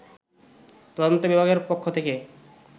তদন্ত বিভাগের পক্ষ থেকে